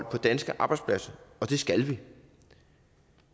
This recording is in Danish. på danske arbejdspladser og det skal vi